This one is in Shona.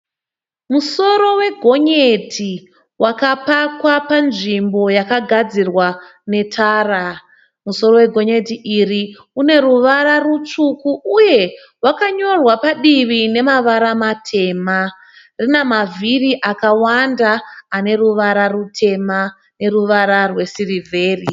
Musoro wegonyeti wakapakwa panzvimbo yakagadzirwa netara. Musoro wegonyeti iri une ruvara rutsvuku uye wakanyorwa padivi nemavara matema. Rina mavhiri akawanda ane ruvara rutema neruvara rwesirivheri.